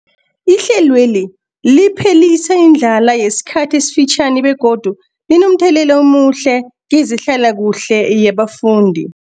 Ihlelweli liphelisa indlala yesikhathi esifitjhani begodu linomthelela omuhle kezehlalakuhle yabafundi.